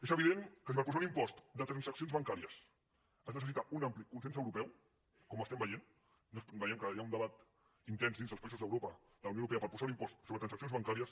és evident que si per posar un impost de transaccions bancàries es necessita un ampli consens europeu com estem veient veiem que hi ha un debat intens dins dels països d’europa de la unió europea per posar un impost sobre transaccions bancàries